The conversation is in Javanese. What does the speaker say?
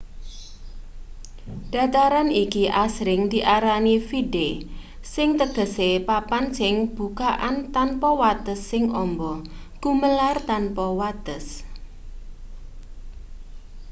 dataran iki asring diarani vidde sing tegese papan sing bukakan tanpa wates sing amba gumelar tanpa wates